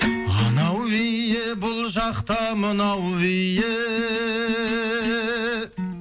анау биі бұл жақта мынау биі